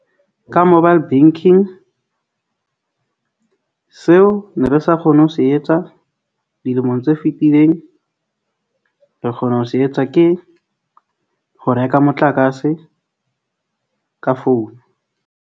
Ka mobile banking seo ne re sa kgone ho se etsa, dilemong tse fitileng re kgona ho se etsa ke ho reka motlakase ka founu.